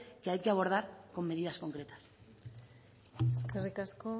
que hay que abordar con medidas concretas eskerrik asko